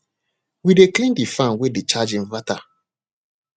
we dey clean de fan way dey charge inverter